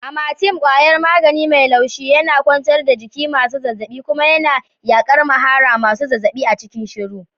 Amatem kwayar magani mai laushi yana kwantar da jikin masu zazzaɓi kuma yana yaƙar mahara masu zazzaɓi a cikin shiru.